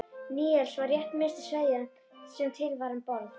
Níelsi var rétt minnsta sveðjan sem til var um borð.